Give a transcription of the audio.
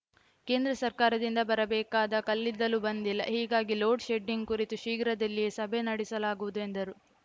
ಕೇಂದ್ರ ಸರ್ಕಾರದಿಂದ ಬರಬೇಕಾದ ಕಲ್ಲಿದ್ದಲು ಬಂದಿಲ್ಲ ಹೀಗಾಗಿ ಲೋಡ್‌ ಶೆಡ್ಡಿಂಗ್‌ ಕುರಿತು ಶೀಘ್ರದಲ್ಲಿಯೇ ಸಭೆ ನಡೆಸಲಾಗುವುದು ಎಂದರು